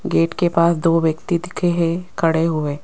Gate के पास दो व्यक्ति दिखे हैं खड़े हुए।